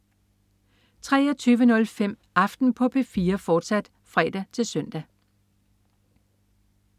23.05 Aften på P4, fortsat (fre-søn)